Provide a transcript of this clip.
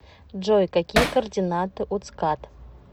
джой какие координаты у цкад